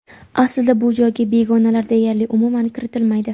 Aslida bu joyga begonalar deyarli umuman kiritilmaydi.